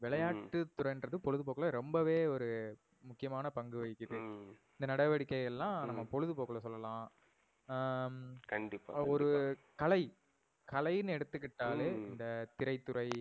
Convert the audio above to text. விளையாட்டு துறைனுறது பொழுதுபோக்குல ரொம்பவே ஒரு முக்கியமான பங்குவகிக்குது. இந்த நடவடிக்கை எல்லாம் ஹம் நம்ப பொழுதுபோக்குல சொல்லலாம். ஆஹ் கண்டிப்பா கண்டிப்பா ஒரு கலை கலைன்னு எடுத்துகிட்டாலே ஹம் இந்த திரைத்துறை